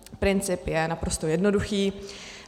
Princip je naprosto jednoduchý.